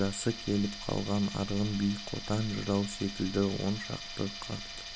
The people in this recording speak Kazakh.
жасы келіп қалған арғын би қотан жырау секілді он шақты қарт